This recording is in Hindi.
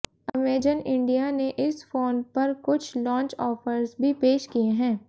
अमेजन इंडिया ने इस फोन पर कुछ लॉन्च ऑफर्स भी पेश किए हैं